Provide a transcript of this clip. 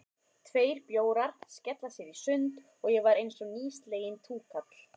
Tveir bjórar, skella sér í sund, og ég var einsog nýsleginn túkall.